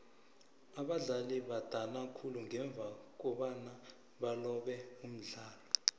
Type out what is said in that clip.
abadlali badana khulu ngemva kobana balobe umdlalo